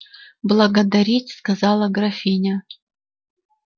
благодарить сказала графиня